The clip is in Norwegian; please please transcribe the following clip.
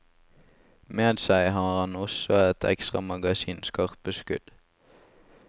Med seg har han også et ekstra magasin skarpe skudd.